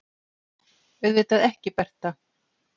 Auðvitað ekki, Bertha.